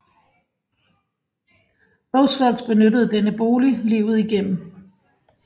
Roosevelt benyttede denne bolig livet igennem